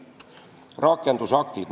Rakendusaktid.